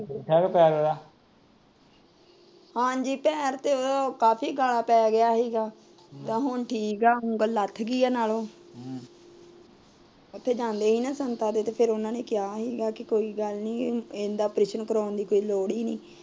ਹਾਂਜੀ ਟਾਇਰ ਤੇ ਕਾਫੀ ਪੈ ਗਿਆ ਸੀ ਹੁਣ ਠੀਕ ਐ ਉਂਗਲ ਲੱਥ ਗਈ ਏ ਨਾਲੋਂ ਉਥੇ ਜਾਂਦੇ ਸੀ ਨਾ ਸੰਤਾ ਤੇ ਉਹਨਾਂ ਨੇ ਕਿਹਾ ਸੀ